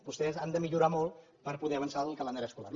vostès han de millorar molt per poder avançar el calendari escolar